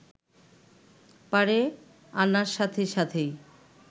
পাড়ে আনার সাথে সাথেই